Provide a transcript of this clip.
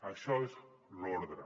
això és l’ordre